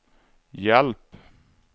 hjälp